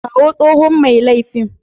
Kawo tsohon mai laifin.